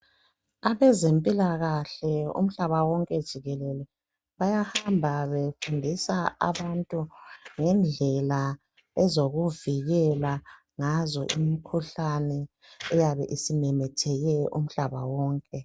Abezempilakahle umhlaba wonke jikelele bayahamba befundisa abantu ngendlela ezokuvikela ngazo imikhuhlane eyabe isimemetheke umhlaba wonke.